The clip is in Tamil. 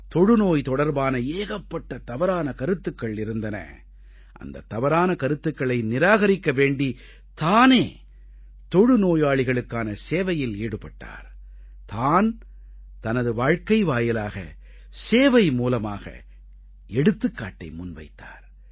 தொழுநோய் தொடர்பான ஏகப்பட்ட தவறான கருத்துக்கள் இருந்தன அந்தத் தவறான கருத்துக்களை நிராகரிக்க வேண்டி தானே தொழுநோயாளிகளுக்கான சேவையில் ஈடுபட்டார் தான் தனது வாழ்க்கை வாயிலாக சேவை மூலமாக எடுத்துக்காட்டை முன்வைத்தார்